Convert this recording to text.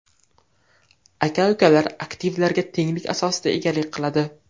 Aka-ukalar aktivlarga tenglik asosida egalik qiladi.